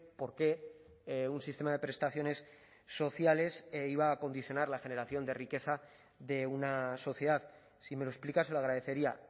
por qué un sistema de prestaciones sociales iba a condicionar la generación de riqueza de una sociedad si me lo explica se lo agradecería